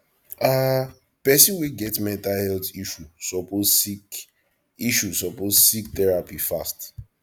um pesin wey get mental health issue suppose seek issue suppose seek therapy fast